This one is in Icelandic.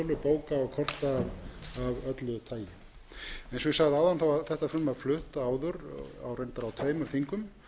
og ég sagði áðan var þetta frumvarp flutt áður reyndar á tveimur þingum á síðara þinginu sem þetta var